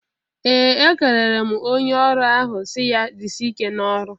Ee! Ekelere m onye ọrụ ahụ si ya "Jisie ike n'ọlụ!"